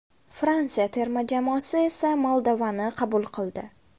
Fransiya terma jamoasi esa Moldovani qabul qildi.